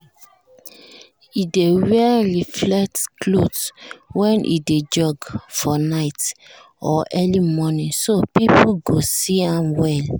e dey wear reflect cloth when e dey jog for night or early morning so people go see am well.